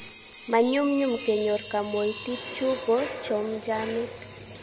ma nyumnyum kenyor kaoimutit chu bo chomjamet